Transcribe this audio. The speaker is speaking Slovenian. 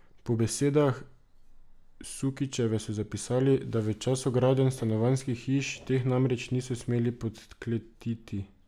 Po besedah Sukičeve so zapisali, da v času gradenj stanovanjskih hiš teh namreč niso smeli podkletiti.